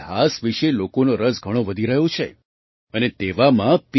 ઇતિહાસ વિશે લોકોનો રસ ઘણો વધી રહ્યો છે અને તેવામાં પી